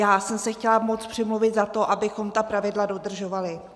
Já jsem se chtěla moc přimluvit za to, abychom ta pravidla dodržovali.